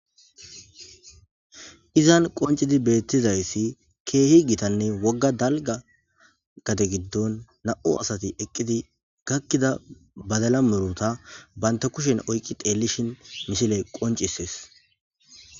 Izan qoncidi beettizayssi keehi gitanne wogga dalga gate giddon na'u asati eqqidi gakkida badala muruta banta kushen oyqqi teellishin misile qoncisees